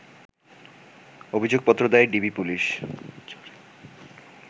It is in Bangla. অভিযোগপত্র দেয় ডিবি পুলিশ